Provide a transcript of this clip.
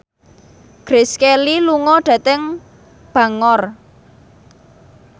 Grace Kelly lunga dhateng Bangor